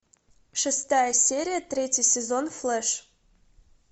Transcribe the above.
шестая серия третий сезон флэш